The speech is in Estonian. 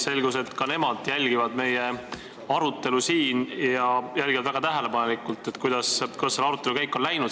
Selgus, et ka nemad jälgivad meie arutelu – ja nad jälgivad väga tähelepanelikult, kuidas selle arutelu käik on läinud.